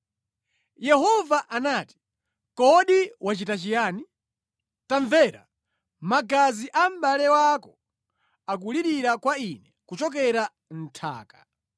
Yehova anati, “Kodi wachita chiyani? Tamvera! Magazi a mʼbale wako akulirira kwa Ine kuchokera mʼnthaka.